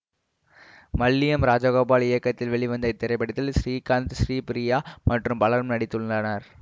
மல்லியம் ராஜகோபால் இயக்கத்தில் வெளிவந்த இத்திரைப்படத்தில் ஸ்ரீகாந்த் ஸ்ரீபிரியா மற்றும் பலரும் நடித்துள்ளனர்